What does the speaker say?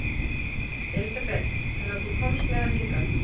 Elísabet: Þannig að þú komst með hann hingað?